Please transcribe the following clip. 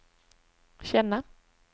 känna